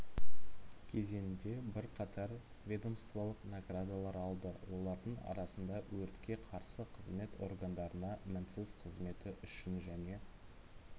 кезеңінде бірқатар ведомстволық наградалар алды олардың арасында өртке қарсы қызмет органдарына мінсіз қызметі үшін және